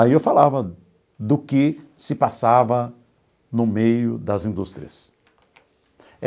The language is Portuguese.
Aí eu falava do que se passava no meio das indústrias.